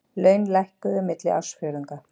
Laun hækkuðu milli ársfjórðunga